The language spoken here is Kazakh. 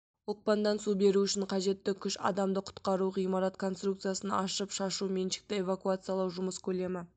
оқпандан су беру үшін қажетті күш адамды құтқару ғимарат конструкциясын ашып шашу меншікті эвакуациялау жұмыс көлемі